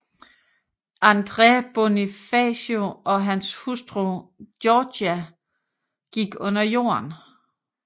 Andres Bonifacio og hans hustru Gregoria gik under jorden